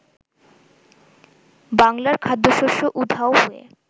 বাংলার খাদ্যশস্য উধাও হয়ে